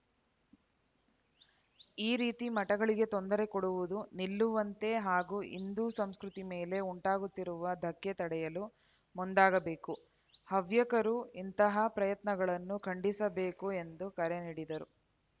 ಈ ರೀತಿ ಮಠಗಳಿಗೆ ತೊಂದರೆ ಕೊಡುವುದು ನಿಲ್ಲುವಂತೆ ಹಾಗೂ ಹಿಂದೂ ಸಂಸ್ಕೃತಿ ಮೇಲೆ ಉಂಟಾಗುತ್ತಿರುವ ಧಕ್ಕೆ ತಡೆಯಲು ಮುಂದಾಗಬೇಕು ಹವ್ಯಕರು ಇಂತಹ ಪ್ರಯತ್ನಗಳನ್ನು ಖಂಡಿಸಬೇಕು ಎಂದು ಕರೆ ನೀಡಿದರು